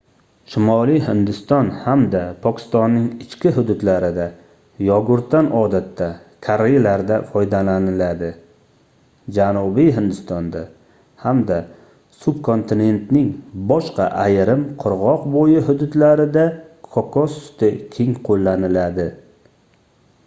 shimoliy hindiston hamda pokistonning ichki hududlarida yogurtdan odatda karrilarda foydalaniladi janubiy hindistonda hamda subkontinentning boshqa ayrim qirgʻoq boʻyi hududlarida kokos suti keng qoʻllaniladi